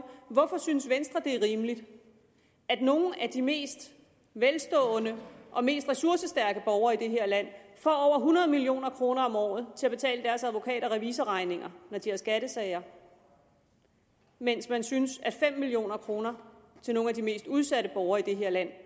hvorfor synes venstre det er rimeligt at nogle af de mest velstående og mest ressourcestærke borgere i det her land får over hundrede million kroner om året til at betale deres advokat og revisorregninger når de har skattesager mens man synes at fem million kroner til nogle af de mest udsatte borgere i det her land